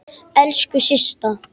Elsku Systa!